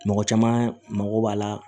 Mɔgɔ caman mago b'a la